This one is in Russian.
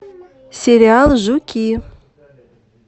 сериал жуки